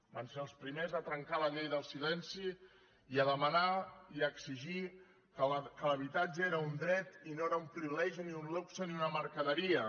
van ser els primers de trencar la llei del silenci i a demanar i a exigir que l’habitatge era un dret i no era un privilegi ni un luxe ni una mercaderia